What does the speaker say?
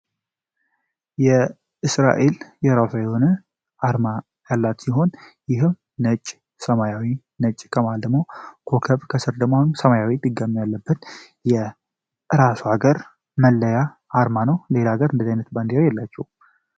እስራኤል የራሷ የሆነ አርማ ያላት ሲሆን ይህም ነጭ ሰማያዊ ነጭ ከመሃል ደግሞ ኮከብ ከስር ደግሞ ሰማያዊ ድጋሚ ያለበት የራሱ ሀገር መለያ ነው ሌላ ሀገር እንደዛ አይነት ባንዴራ የላቸውም።